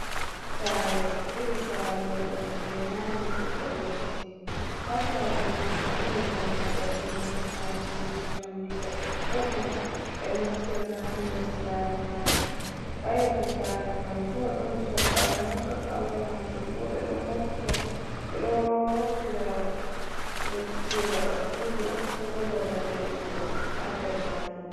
Saare, iri saare nyiɓol jey naane nyiɓol leddi, haa saare maajum. Ɗon dammugal, dammugal maajum jey njamndi, her ɗoɗɗon ɓe nastirta haa nder saare maajum. Haa yeeso saare man bo, ɗon sok’awe haa sok'awe maajum bo, ɓe ɗo moftira ndotti jey gaɗa suudu on, ko bo babal leɓugo haa nder maajum.